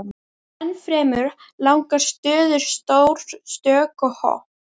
Ennfremur langar stöður, stór stökk og hopp.